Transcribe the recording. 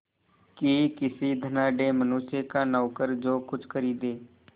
कि किसी धनाढ़य मनुष्य का नौकर जो कुछ खरीदे